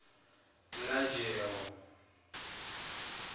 lajewo